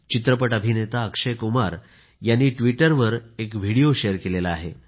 चित्रपट अभिनेता अक्षय कुमार याने ट्विटरवर एक व्हिडीओ शेअर केला आहे